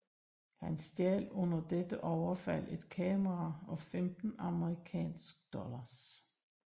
Han stjal under dette overfald et kamera og 15 amerikansk dollars